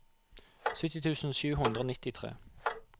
sytti tusen sju hundre og nittitre